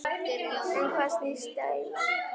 Um hvað snýst deilan?